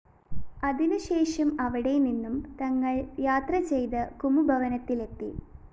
അതിനുശേഷം അവിടേനിന്നും തങ്ങള്‍ യാത്രചെയ്ത് കുമുദവനത്തിലെത്തി